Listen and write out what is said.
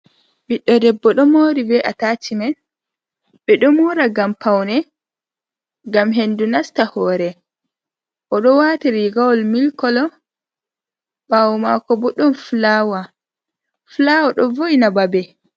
Ɓiɗɗo debbo ɗo mori atashimen ɓeɗo mora ngam paune, ngam hendu nasta hore, oɗo wati rigawol milik kolo ɓawo mako bo ɗon fulawa. Fulaawa ɗo vo’ina babe.